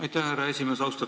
Aitäh, härra esimees!